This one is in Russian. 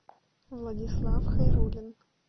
владислав хайрулин